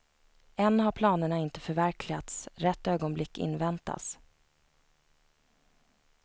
Än har planerna inte förverkligats, rätt ögonblick inväntas.